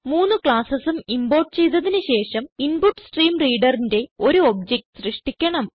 മൂന്ന് classesഉം ഇംപോർട്ട് ചെയ്തതിന് ശേഷം InputStreamReaderന്റെ ഒരു ഒബ്ജക്റ്റ് സൃഷ്ടിക്കണം